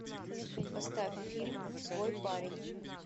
поставь фильм свой парень